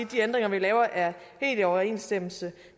de ændringer vi laver er helt i overensstemmelse